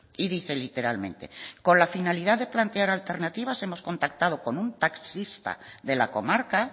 y dice literalmente con la finalidad de plantear alternativas hemos contactado con un taxista de la comarca